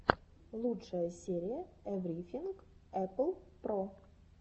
лучшая серия эврифинг эппл про